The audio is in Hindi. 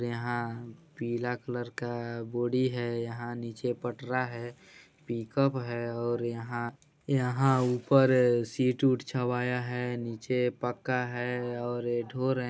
और यहाँ पीला कलर का बोरी है यहाँ नीचे पटरा है पिक अप है और यहाँ यहाँ ऊपर सीट यूट छवाया है नीचे पक्का है और ये ढो रहें।